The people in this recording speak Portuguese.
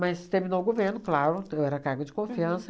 terminou o governo, claro, eu era cargo de confiança.